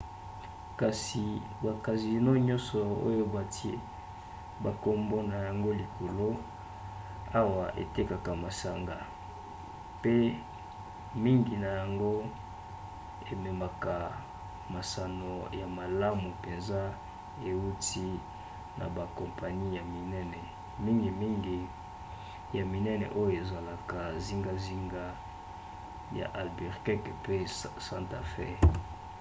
kasi bacasino nyonso oyo batie bankombo na yango likolo awa etekaka masanga mpe mingi na yango ememaka masano ya malamu mpenza euti na bakompani ya minene mingimingi ya minene oyo ezalaka zingazinga ya albuquerque mpe santa fe